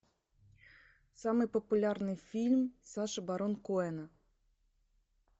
самый популярный фильм саши барон коэна